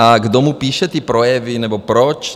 A kdo mu píše ty projevy, nebo proč.